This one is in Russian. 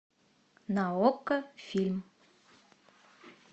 на окко фильм